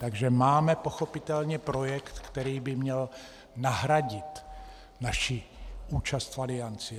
Takže máme pochopitelně projekt, který by měl nahradit naši účast v Alianci.